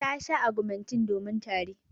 Ta sha augmentin domin tari.